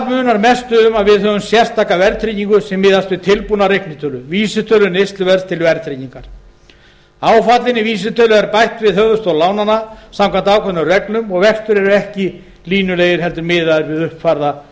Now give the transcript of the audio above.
munar mestu um að við höfum sérstaka verðtryggingu sem miðast við tilbúna reiknieiningu vísitölu neysluverðs til verðtryggingar áfallinni vísitölu er bætt við höfuðstól lánanna samkvæmt ákveðnum reglum og vextir eru ekki línulegir heldur miðaðir við uppfærða